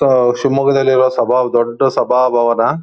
So ಶಿಮೊಗ್ಗದಲ್ಲಿರೋ ಸಭಾ ದೊಡ್ಡ ಸಭಾಭವನ.